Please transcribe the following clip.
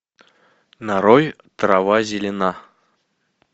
нарой трава зелена